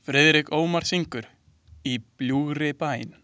Friðrik Ómar syngur „Í bljúgri bæn“.